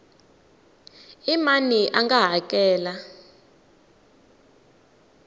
i mani a nga hakela